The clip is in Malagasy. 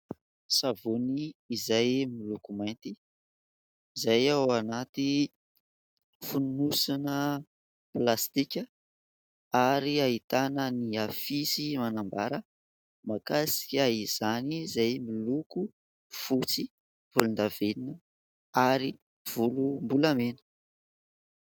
Savony izay miloko mainty izay ao anaty fonosona plastika ary ahitana ny afisy manambara mahakasika izany izay miloko fotsy volondavenona ary volom-bolamena.